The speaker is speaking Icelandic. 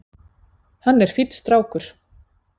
Hann er fínn strákur.